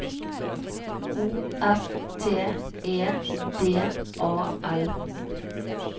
O F T E D A L